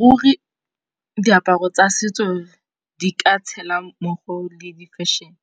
Ruri diaparo tsa setso di ka tshela mmogo le di fešhene